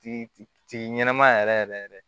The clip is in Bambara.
Ti ɲɛnama yɛrɛ yɛrɛ